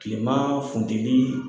Tilema funteli